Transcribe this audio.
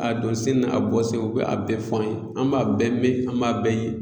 A don sen n'a bɔ sen u bɛ a bɛɛ fɔ an ye, an b'a bɛɛ mɛn an b'a bɛɛ ye.